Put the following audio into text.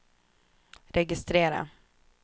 registrera